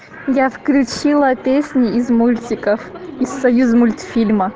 я включила песни из мультиков из союзмультфильма